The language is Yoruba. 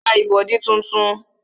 Ma ra ìbọ̀dí tuntun